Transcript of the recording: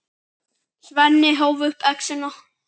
Svenni hóf upp exina.